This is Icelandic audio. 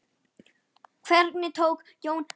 Hvernig tókst Jóni Óla það?